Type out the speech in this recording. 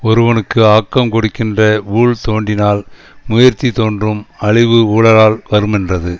ஒருவனுக்கு ஆக்கங் கொடுக்கின்ற ஊழ் தோன்றினால் முயற்சி தோன்றும் அழிவு ஊழால் வருமென்றது